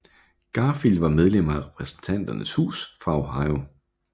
Garfield var medlem af Repræsentanternes Hus fra Ohio